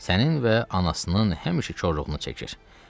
Sənin və anasının həmişə korluğunu çəkir.